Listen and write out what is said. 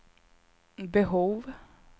behov